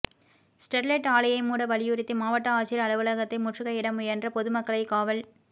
Sterlite ஆலையை மூட வலியுறுத்தி மாவட்ட ஆட்சியர் அலுவலகத்தை முற்றுகையிட முயன்ற பொதுமக்களை காவல்